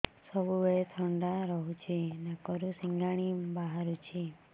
ସବୁବେଳେ ଥଣ୍ଡା ରହୁଛି ନାକରୁ ସିଙ୍ଗାଣି ବାହାରୁଚି